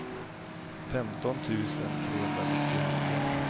femton tusen trehundranittionio